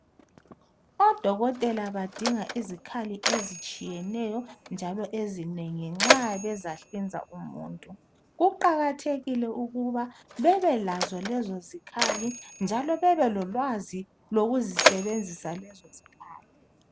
Odokotela badinga izikhali njalo ezitshiyeneyo ezinengi bezahlinza umuntu. Kuqakathekile ukuthi babelolwazi nxa bezazisebenzisa lezo zikhali.